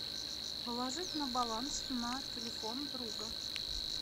положить на баланс на телефон друга